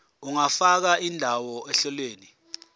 ungafaka indawo ohlelweni